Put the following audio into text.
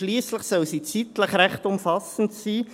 Schliesslich soll sie zeitlich recht umfassend sein.